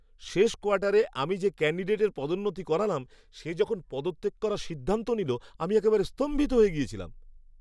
শেষ কোয়ার্টারে আমি যে ক্যান্ডিডেটের পদোন্নতি করালাম, সে যখন পদত্যাগ করার সিদ্ধান্ত নিল, আমি একেবারে স্তম্ভিত হয়ে গেছিলাম!